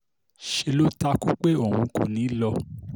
ṣe ló takú pé òun kò ní í lọ